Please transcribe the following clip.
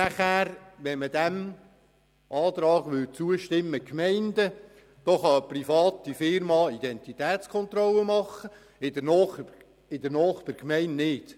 Würde man diesem Antrag zustimmen, wäre es möglich, dass Private in der einen Gemeinde Identitätskontrollen vornehmen könnten, in der Nachbargemeinde aber nicht;